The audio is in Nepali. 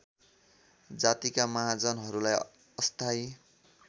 जातिका महाजनहरूलाई अस्थायी